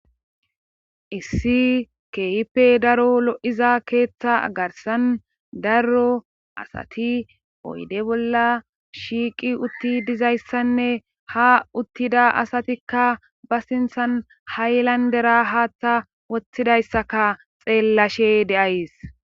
Issi keehippe daro lo7iza keeththa agarsan darro asati poyde bolla shiiqi utti dizayssanne ha uttida asatikka ba sinthan haylandera haaththa woththidayssaka xeellashe de7ays